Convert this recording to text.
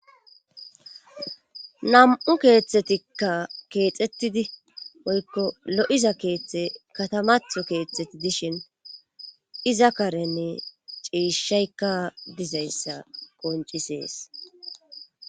nam'u keeththetikka keexettidi woykko lo'iza keeththe katamatho keeththeti dishin iza karenne ciishayka dizayssa qoncisees